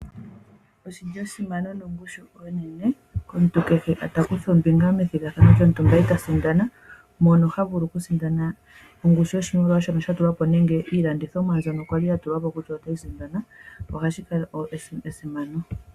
Oshi li esimano nongushu onene, komuntu kehe ta kutha ombinga methigathano e ta sindana mono ha vulu e ta sindana nongushu yoshimaliwa shono Sha tulwa po nenge ongushu yiilandithomwa mbyono ya li ya tulwa po kutha oyo tayi sindanwa. Hashi kala esimano.